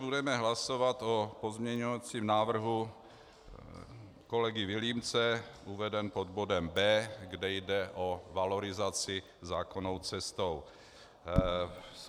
Budeme hlasovat o pozměňovacím návrhu kolegy Vilímce, uveden pod bodem B, kde jde o valorizaci zákonnou cestou.